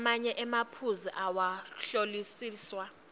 lamanye emaphuzu awakahlolisiswa